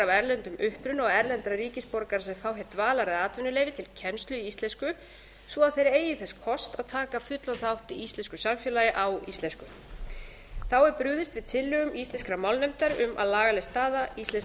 erlendum uppruna og erlendra ríkisborgara sem fá hér dvalar eða atvinnuleyfi til kennslu í íslensku svo að þeir eigi þess kost að taka fullan þátt í íslensku samfélagi á íslensku þá er brugðist við tillögum íslenskrar málnefndar um að lagaleg staða íslensks